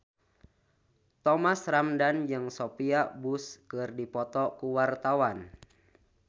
Thomas Ramdhan jeung Sophia Bush keur dipoto ku wartawan